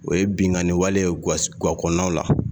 O ye binnkani wale ye gakɔnɔnaw la